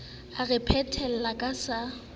o re phethele ka se